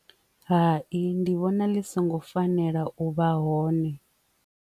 Hai, ndi vhona ḽi songo fanela u vha hone.